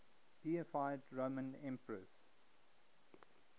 deified roman emperors